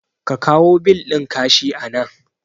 Ka kawo bil ɗin ka shi anan